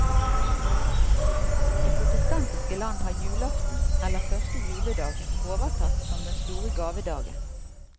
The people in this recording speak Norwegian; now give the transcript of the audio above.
I protestantiske land har julaften eller første juledag overtatt som den store gavedagen.